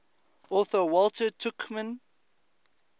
author walter tuchman